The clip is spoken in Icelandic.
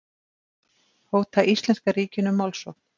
Hóta íslenska ríkinu málsókn